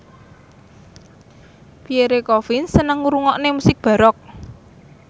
Pierre Coffin seneng ngrungokne musik baroque